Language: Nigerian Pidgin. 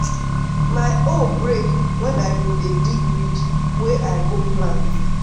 my hoe break wen i bin dey dig ridge wey i go plant.